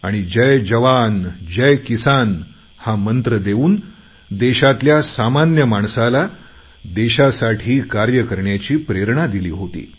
आणि जय जवानजय किसान हा मंत्र देऊन देशातल्या सामान्य माणसाला देशासाठी कार्य करण्याची प्रेरणा दिली होती